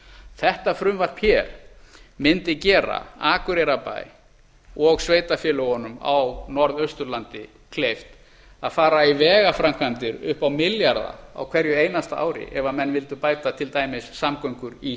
þetta frumvarp mundi gera akureyrarbæ og sveitarfélögunum á norðausturlandi kleift að fara í vegaframkvæmdir upp á milljarða á hverju einasta ári ef menn vildu bæta til dæmis samgöngur í